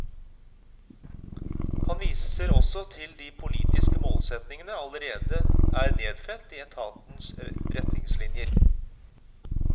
Han viser også til at de politiske målsetningene allerede er nedfelt i etatens retningslinjer.